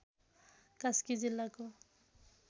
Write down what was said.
कास्की जिल्लाको